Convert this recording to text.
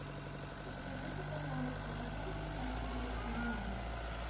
подскажи ка пожалуйста почем сейчас китайский юань